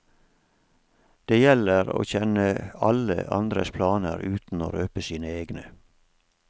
Det gjelder å kjenne alle andres planer uten å røpe sine egne.